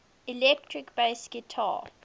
electric bass guitar